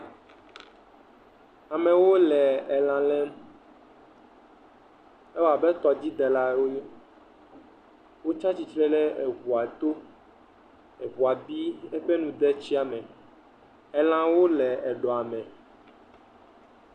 amɛwo lɛ elã lɛm ewɔabe tɔdzi delawo wonyo wo tsa tsitre le eʋua tó eʋua bi eƒe nu de etsia me elãwo le eɖɔ me